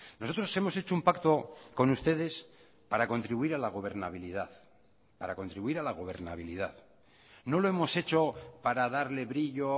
nosotros hemos hecho un pacto con ustedes para contribuir a la gobernabilidad para contribuir a la gobernabilidad no lo hemos hecho para darle brillo